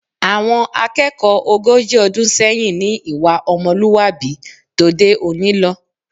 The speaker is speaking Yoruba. Àwọn akẹ́kọ̀ọ́ ogójì ọdún sẹ́yìn ní ìwà ọmọlúwàbí tòde òní lọ